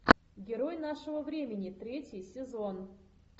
герой нашего времени третий сезон